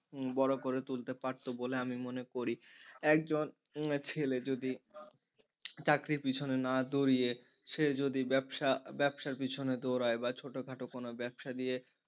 বড় করে তুলতে পারতো বলে আমি মনে করি একজন ছেলে যদি চাকরির পিছনে না দৌড়িয়ে সে যদি ব্যবসা ব্যবসার পিছনে দৌড়ায় বা ছোটখাটো কোন ব্যবসা দিয়ে,